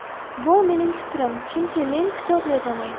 Bu mening fikrim, chunki men kitob yozaman.